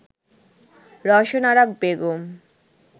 Rowshan Ara Begum